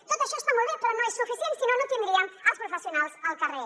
tot això està molt bé però no és suficient si no no tindríem els professionals al carrer